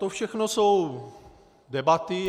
To všechno jsou debaty.